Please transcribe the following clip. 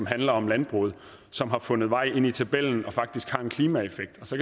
handler om landbruget som har fundet vej ind i tabellen og faktisk har en klimaeffekt så